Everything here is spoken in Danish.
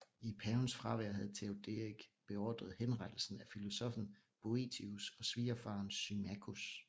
I pavens fravær havde Teoderik beordret henrettelsen af filosoffen Boethius og svigerfaren Symmachus